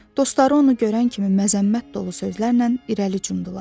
Dostları onu görən kimi məzəmmət dolu sözlərlə irəli cumdular.